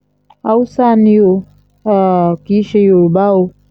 haúsá ni o um kì í ṣe yorùbá o